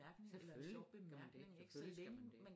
Selvfølgelig skal man det selvfølgelig skal man det